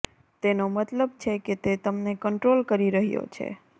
તેનો મતલબ છે કે તે તમને કંટ્રોલ કરી રહ્યો છે